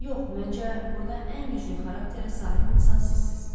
Yox, məncə, burda ən güclü xarakterə sahib insan sizsiz.